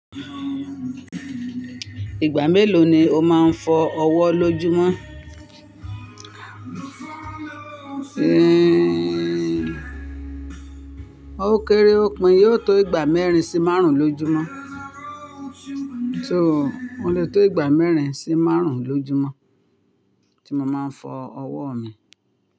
Ìgbà mélòó ni o máa ń fọ ọwọ́ lójúmọ́? Ó kéré ó pin yóò tó ìgbà mẹ́rin sí márùn-ún lójúmọ́. So ó lè tó ìgbà mẹ́rin sí márùn-ún lójúmọ́ tí mo máa ń fọ ọwọ́ mi.